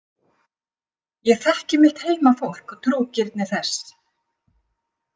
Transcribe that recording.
Ég þekkti mitt heimafólk og trúgirni þess.